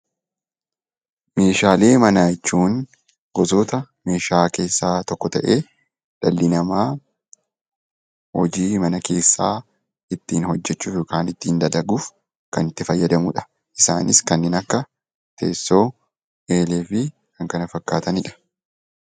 Meeshaalee manaa jechuun gosoota meeshaa keessaa tokko ta'ee dhalli namaa hojii mana keessaa ittiin hojjechuuf kan itti fayyadamudha. Isaanis kanneen akka teessoo eelee fi kan kana fakkaatanidha.